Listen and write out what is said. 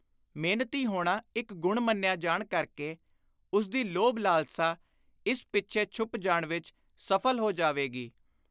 ਮਿਹਨਤੀ ਹੋਣਾ ਇਕ ਗੁਣ ਮੰਨਿਆ ਜਾਣ ਕਰਕੇ ਉਸਦੀ ਲੋਭ-ਲਾਲਸਾ ਇਸ ਪਿੱਛੇ ਛੁਪ ਜਾਣ ਵਿਚ ਸਫਲ ਹੋ ਜਾਵੇਗੀ।